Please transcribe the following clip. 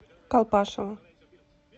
колпашево